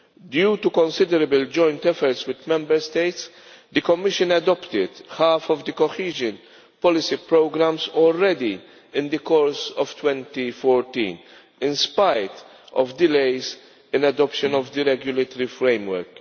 Due to considerable joint efforts with Member States, the Commission adopted half of the cohesion policy programmes already in the course of 2014, in spite of delays in adoption of the regulatory framework.